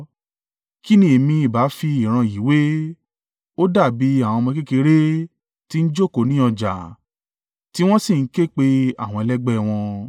“Kí ni èmi ìbá fi ìran yìí wé? Ó dàbí àwọn ọmọ kékeré tí ń jókòó ní ọjà tí wọ́n sì ń ké pe àwọn ẹlẹgbẹ́ wọn: